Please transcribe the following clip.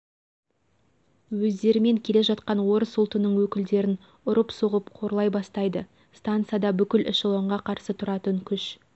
өздерімен келе жатқан орыс ұлтының өкілдерін ұрып соғып қорлай бастайды стансада бүкіл эшелонға қарсы тұратын күш